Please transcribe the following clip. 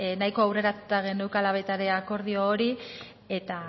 nahiko aurreratuta geneukala baita ere akordio hori eta